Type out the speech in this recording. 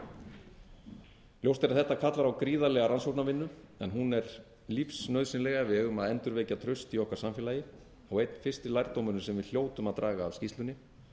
ræða ljóst er að þetta kalla á gríðarlega rannsóknarvinnu en hún er lífsnauðsynleg ef við eigum að endurvekja traust í okkar samfélagi og einn fyrsti lærdómurinn sem við hljótum að draga af skýrslunni